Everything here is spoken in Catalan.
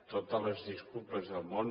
totes les disculpes del món